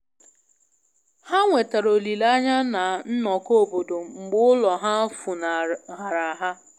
Ha nwetara olile anya na nnọkọ obodo mgbe ulo ha funahara ha.